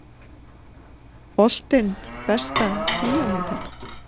Boltinn Besta bíómyndin?